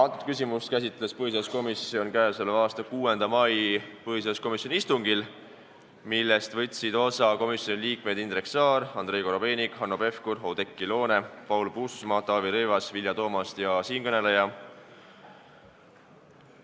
Antud küsimust käsitles põhiseaduskomisjon k.a 6. mai põhiseaduskomisjoni istungil, millest võtsid osa komisjoni liikmed Indrek Saar, Andrei Korobeinik, Hanno Pevkur, Oudekki Loone, Paul Puustusmaa, Taavi Rõivas, Vilja Toomast ja siinkõneleja.